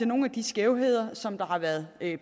nogle af de skævheder som der har været